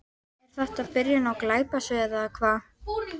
Er þetta byrjun á glæpasögu eða hvað?